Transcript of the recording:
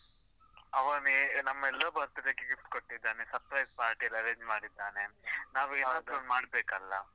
ಅವನೇ ನಮ್ಮೆಲ್ಲರ birthday ಗೆ gift ಕೊಟ್ಟಿದ್ದಾನೆ, surprise party ಎಲ್ಲಾ arrange ಮಾಡಿದ್ದಾನೆ. ಒಂದು ಮಾಡ್ಬೇಕಲ್ಲಾ?